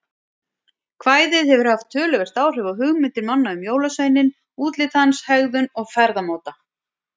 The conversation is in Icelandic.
Við vitum hvað hann getur sparkað vel og það sama má segja um Aron Sigurðar.